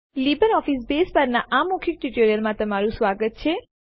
LibreOffice Base પરનાં આ મૌખિક ટ્યુટોરીયલમાં તમારું સ્વાગત છે